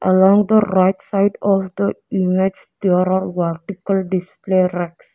Along the right side of the image there are vertical display racks.